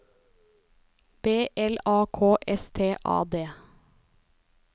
B L A K S T A D